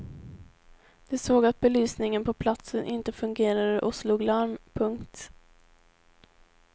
De såg att belysningen på platsen inte fungerade och slog larm. punkt